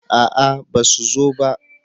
a'a ba su zo ba